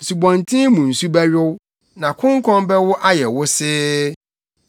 Nsubɔnten mu nsu bɛyow, na konkɔn bɛwo ayɛ wosee.